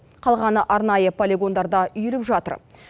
қалғаны арнайы полигондарда үйіліп жатыр